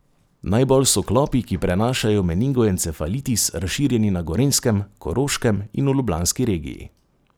Najbolj so klopi, ki prenašajo meningoencefalitis, razširjeni na Gorenjskem, Koroškem in v ljubljanski regiji.